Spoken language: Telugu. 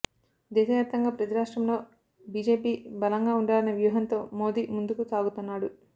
దేశ వ్యాప్తంగా ప్రతిరాష్ట్రంలో బీజేపీ బలంగా ఉండాలన్న వ్యూహంతో మోడీ ముందుకు సాగుతున్నాడు